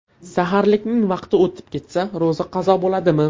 Saharlikning vaqti o‘tib ketsa, ro‘za qazo bo‘ladimi?.